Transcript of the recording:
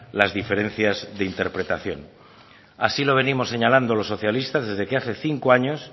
las diferencias de interpretación así lo venimos señalando los socialistas desde que hace cinco años